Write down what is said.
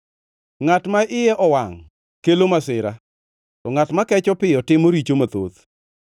Ngʼat ma iye owangʼ kelo masira, to ngʼat makecho piyo timo richo mathoth.